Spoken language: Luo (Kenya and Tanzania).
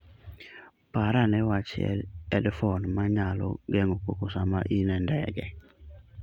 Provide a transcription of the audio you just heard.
Par ane wach headphones ma nyalo geng'o koko sama in e ndege.